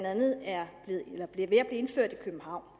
andet er ved at blive indført i københavn